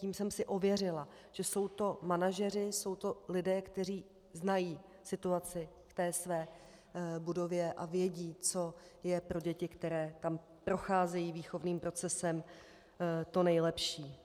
Tím jsem si ověřila, že jsou to manažeři, jsou to lidé, kteří znají situaci v té své budově a vědí, co je pro děti, které tam procházejí výchovným procesem, to nejlepší.